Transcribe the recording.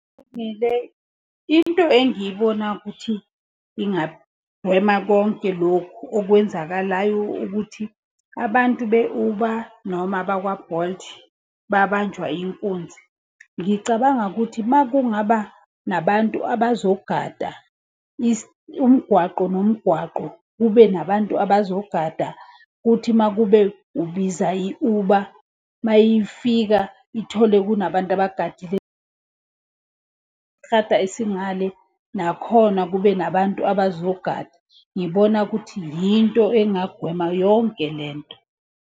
Into engiyibonayo ukuthi ingagwema konke lokhu okwenzakalayo ukuthi abantu be-Uber noma abakwa-Bolt, babanjwa inkunzi. Ngicabanga ukuthi uma kungaba nabantu abazogada umgwaqo nomgwaqo. Kube nabantu abazogada kuthi uma kube ubiza i-Uber, uma yifika ithole kunabantu abagadile. isingale nakhona kube nabantu abazogada. Ngibona ukuthi yinto engagwema yonke lento.